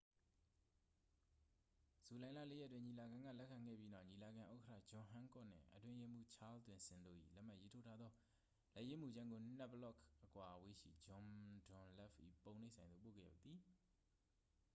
ဇူလိုင်လ 4 ရက်တွင် ညီလာခံက လက်ခံခဲ့ပြီးနောက် ညီလာခံဥက္ကဌ ဂျွန်ဟန်းကော့ခ်နှင့် အတွင်းရေးမှူး ချားလ်သွမ်ဆင်တို့၏ လက်မှတ်ရေးထိုးထားသော လက်ရေးမူကြမ်းကို နှစ်ဘလော့ခ် အကွာအဝေးရှိ ဂျွန်ဒွန်လပ်၏ ပုံနှိပ်ဆိုင်သို့ ပို့ခဲ့သည်